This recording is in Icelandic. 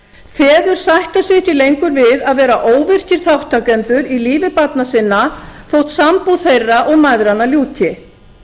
feður sætta sig ekki lengur við að vera óvirkir þátttakendur í lífi barna sinna þótt sambúð þeirra og mæðranna ljúki